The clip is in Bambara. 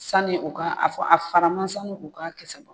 Sanni u ka a fɔ a faraman san a kisɛ.